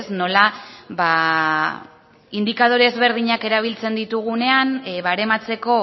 nola indikadore ezberdinak erabiltzen ditugunean barematzeko